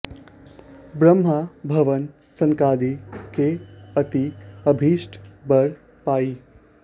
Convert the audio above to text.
ब्रह्म भवन सनकादि गे अति अभीष्ट बर पाइ